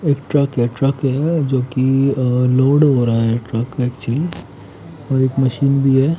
एक ट्रक हैं ट्रक हैं जो की और लोड हो रहा हैं ट्रक में चीज़ एक मशीन भीह--